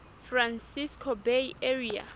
francisco bay area